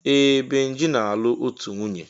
Ee! Benji na-alụ otù nwunye.